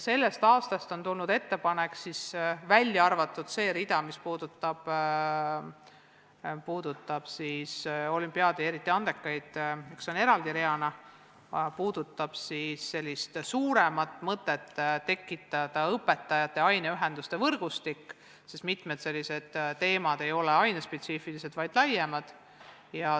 Sellest aastast on tulnud ettepanek – välja arvatud see rida, mis puudutab olümpiaade, eriti andekaid, mis on eraldi reana – tekitada õpetajate aineühenduste võrgustik, sest mitmed sellised teemad ei ole haridusspetsiifilised, vaid laiemad.